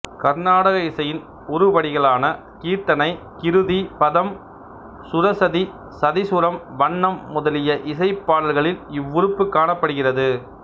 கருநாடக இசையின் உருப்படிகளான கீர்த்தனை கிருதி பதம் சுரசதி சதிசுரம் வண்ணம் முதலிய இசைப் பாடல்களில் இவ்வுறுப்புக் காணப்படுகிறது